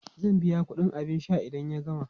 Zai biya kudin abin sha idan ya gama.